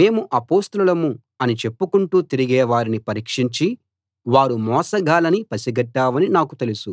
మేము అపొస్తలులం అని చెప్పుకుంటూ తిరిగే వారిని పరీక్షించి వారు మోసగాళ్ళని పసిగట్టావనీ నాకు తెలుసు